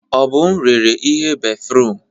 Obum rere ihe béfrụm.